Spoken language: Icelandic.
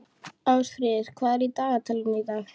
Ásfríður, hvað er í dagatalinu í dag?